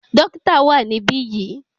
Dókítà wà níbí yìí.